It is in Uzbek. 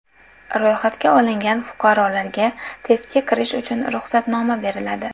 Ro‘yxatga olingan fuqarolarga testga kirish uchun ruxsatnoma beriladi.